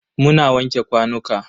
Muna wanke kwanuka.